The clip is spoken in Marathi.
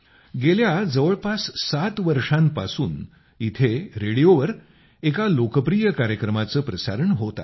गेल्या जवळपास 7 वर्षांपासूनच इथं रेडिओवर एका लोकप्रिय कार्यक्रमाचं प्रसारण होत आहे